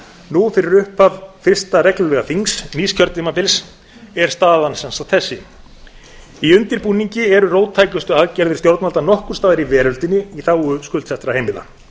nú fyrir upphaf fyrsta reglulega þings nýs kjörtímabils er staðan sem sagt þessi í undirbúningi eru róttækustu aðgerðir stjórnvalda nokkurs staðar í veröldinni í þágu skuldsettra heimila